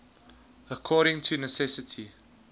according to necessity